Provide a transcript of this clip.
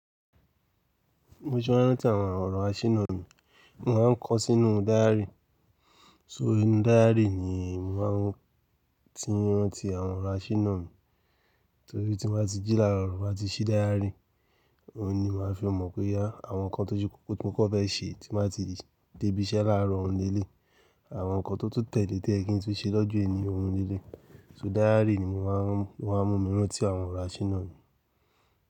Mo ṣe máa ń rántí àwọn ọ̀rọ̀ àṣínà mi, mo máa ń kọ ọ́ sínú dáyárì. So inú dáyárì ni mo máa ń tírán ti àwọn ọ̀rọ̀ àṣínà mi, torí tí mo bá ti jí là rọ, mo bá ti ṣí dáyárì, òun ni màá fi mọ̀ pé yá àwọn nǹkan tó jú kókó tí mo kọ́ fẹ́ ṣe tí mo bá ti dé ibi iṣẹ́ láàárọ̀ òun eléyìí, àwọn nǹkan tó tún tẹ́ lẹ e tó yẹ kí n tún ṣe lọ́jọ́ ẹni òun ni eleyi. So dáyárì ni mo máa ń mú mí rán ti àwọn ọ̀rọ̀ àṣínà mi.